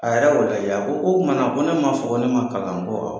A yɛrɛ y'o bɛɛ kɛ. A ko k'o tumana ko ne ma fɔ ko ne ma kalan a, n ko awɔ